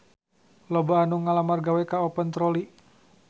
Loba anu ngalamar gawe ka Open Trolley